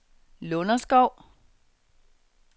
Lunderskov